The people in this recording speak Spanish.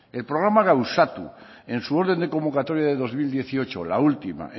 el programa gauzatu en su orden de convocatoria de dos mil dieciocho la última